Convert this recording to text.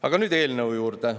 Aga nüüd eelnõu juurde.